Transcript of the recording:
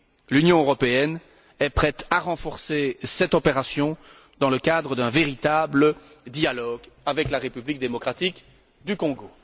L'Union européenne est prête à renforcer cette opération dans le cadre d'un véritable dialogue avec la République démocratique du Congo.